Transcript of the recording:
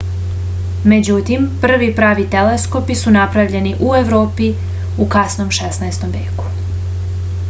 međutim prvi pravi teleskopi su napravljeni u evropi u kasnom 16. veku